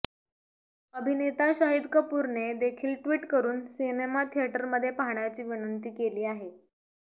अभिनेता शाहिद कपूरने देखील ट्वीट करुन सिनेमा थिएटरमध्ये पाहण्याची विनंती केली आहे